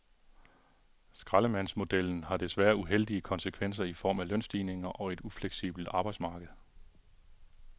Skraldemandsmodellen har desværre uheldige konsekvenser i form af lønstigninger og et ufleksibelt arbejdsmarked.